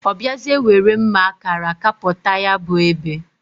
O biazie nwere mma akara kaputa ya bu ebe.